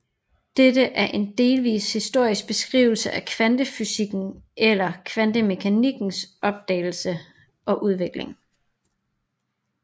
Dette er en delvis historisk beskrivelse af kvantefysikkens eller kvantemekanikkens opdagelse og udvikling